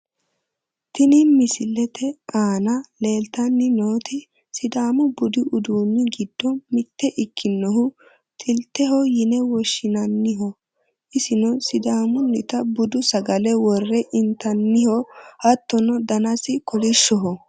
Tini misilete aana leeltanni nooti sidaamu budu uduunni giddo mitte ikkonohu xilteho yine woshshinanniho, isino sidaamunnita budu sagale worre intanniho, hattono danasi kolishshoho.